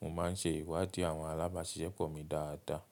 Mo ma ń se ìwádìí àwọn alágbàṣiṣẹ́pọ̀ mi dáadáa.